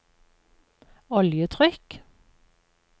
oljetrykk